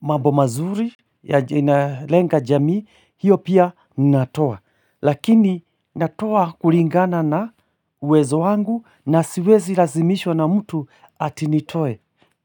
mambo mazuri yalenga jamii hiyo pia natoa lakini natoa kulingana na uwezo wangu na siwezi lazimishwa na mtu ati nitoe.